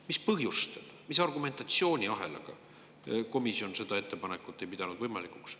Mis põhjustel, mis argumentatsiooniahelaga ei pidanud komisjon võimalikuks seda ettepanekut toetada?